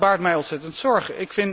Dat baart mij ontzettend zorgen.